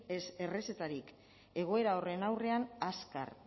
ez errezetarik egoera horren aurrean azkar